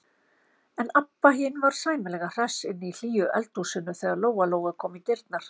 En Abba hin var sæmilega hress inni í hlýju eldhúsinu þegar Lóa-Lóa kom í dyrnar.